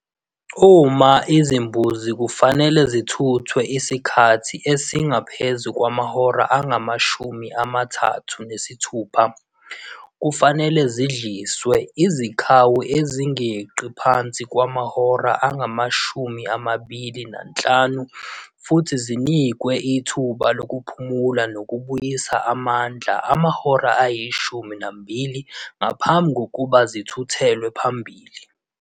Uma izimbuzi kufanele zithuthwe isikhathi esingaphezu kwamahora angamashumi amathathu nesithupha, kufanele zidlilizwe izikhawu ezingenqaphansi kwamahora angamashumi amabili nanhlanu futhi zinikweithuba lokuphumula nokubuyisa amandla amahora ayishumi nambili ngaphambi kokuba zithuthelwe phambili.